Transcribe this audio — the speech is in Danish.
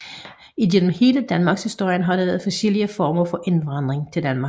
Igennem hele Danmarkshistorien har der været forskellige former for indvandring til Danmark